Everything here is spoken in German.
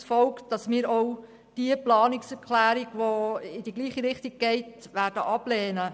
Daraus folgt, dass wir auch die Planungserklärung 1, die in die gleiche Richtung geht, ablehnen werden.